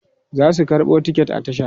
zasu karɓo ticket a tasha